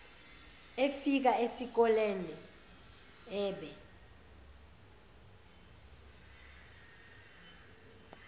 efika esikolene ebe